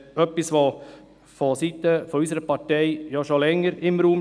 Das steht vonseiten unserer Partei ja schon länger im Raum.